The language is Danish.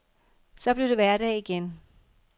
Så blev det hverdag igen.